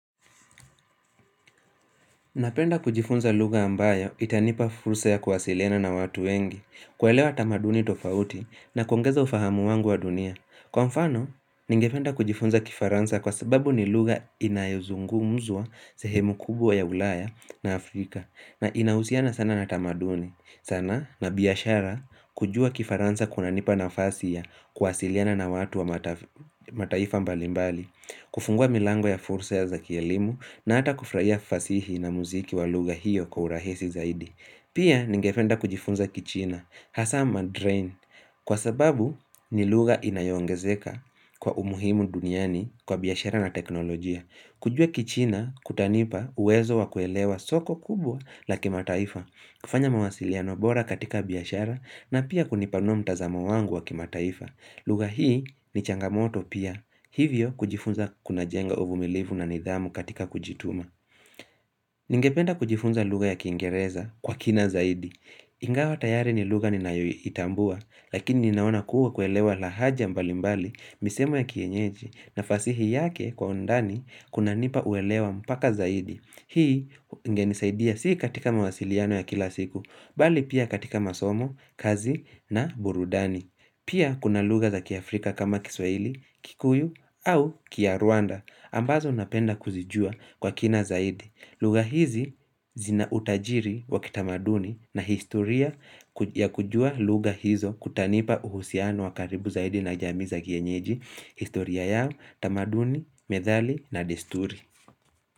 Napenda kujifunza lugha ambayo itanipa fursa ya kuwasiliana na watu wengi, kuelewa tamaduni tofauti na kuongeza ufahamu wangu wa dunia. Kwa mfano, ningependa kujifunza kifaransa kwa sababu ni lugha inayozungumzwa sehemu kubwa ya ulaya na Afrika na inahusiana sana na tamaduni. Sana na biashara kujua kifaransa kunanipa nafasi ya kuwasiliana na watu wa mataifa mbali mbali. Kufungua milango ya fursa ya za kielimu na hata kufurahia fasihi na muziki wa lugha hiyo kwa uhurahisi zaidi pia ningependa kujifunza kichina, hasa mandarin Kwa sababu ni lugha inayoongezeka kwa umuhimu duniani kwa biashara na teknolojia kujua kichina kutanipa uwezo wa kuelewa soko kubwa la kimataifa kufanya mawasiliano bora katika biashara na pia kunipanua mtazamo wangu wa kimataifa lugha hii ni changamoto pia Hivyo kujifunza kun jenga uvumilivu na nidhamu katika kujituma Ningependa kujifunza lugha ya kiingereza kwa kina zaidi Ingawa tayari ni lugha ninayoitambua Lakini ninaona kuwa kuelewa lahaja mbali mbali misemo ya kienyeji na fasihi yake kwa undani kunanipa uelewa mpaka zaidi Hii ingenisaidia si katika mawasiliano ya kila siku Bali pia katika masomo, kazi na burudani Pia kuna hza kiafrika kama kiswaili, kikuyu au kinyarwanda ambazo napenda kuzijua kwa kina zaidi lugha hizi zina utajiri wakitamaduni na historia ya kujua lugha hizo Kutanipa uhusiano wa karibu zaidi na jamii za kienyeji historia yao, tamaduni, methali na desturi.